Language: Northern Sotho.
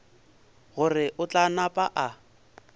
gore o tla napa a